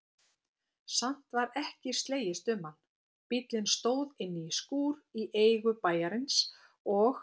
Samt var ekki slegist um hann, bíllinn stóð inní skúr í eigu bæjarins og